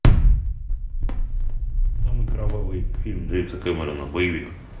самый кровавый фильм джеймса кэмерона боевик